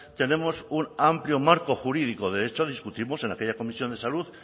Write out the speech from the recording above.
tenemos un amplio marco jurídico de hecho discutimos en aquella comisión de salud